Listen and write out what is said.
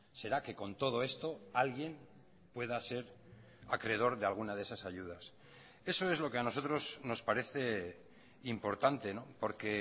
será que con todo esto alguien pueda ser acreedor de alguna de esas ayudas eso es lo que a nosotros nos parece importante porque